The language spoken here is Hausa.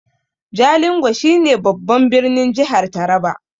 Jalingo shi ne babban birnin jihar taraba